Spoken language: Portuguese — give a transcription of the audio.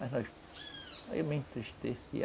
Mas nós... Aí eu me entristeci.